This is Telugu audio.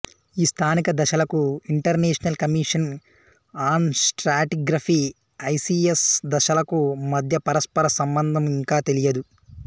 ఈ స్థానిక దశలకు international commission on stratigraphy ICS దశలకూ మధ్య పరస్పర సంబంధం ఇంకా తెలియదు